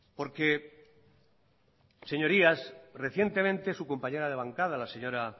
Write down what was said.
porque señorías recientemente su compañera de bancada la señora